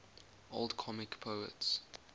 old comic poets